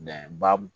ba